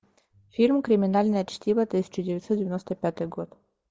фильм криминальное чтиво тысяча девятьсот девяносто пятый год